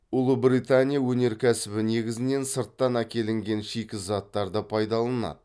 ұлыбритания өнеркәсібі негізінен сырттан әкелінген шикізаттарды пайдаланады